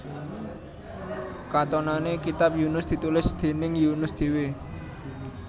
Katonané kitab Yunus ditulis déning Yunus dhéwé